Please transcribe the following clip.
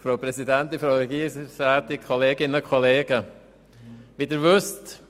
Zuerst hat Grossrat Brand das Wort.